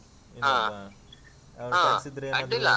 ಹ ಅಡ್ಡಿಲ್ಲ.